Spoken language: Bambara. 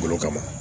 Bolo kama